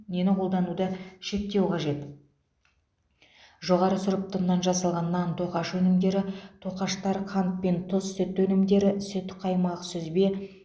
нені қолдануды шектеу қажет жоғары сұрыпты ұннан жасалған нан тоқаш өнімдері тоқаштар қант пен тұз сүт өнімдері сүт қаймақ сүзбе